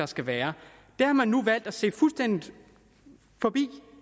skal være det har man nu valgt at se fuldstændig forbi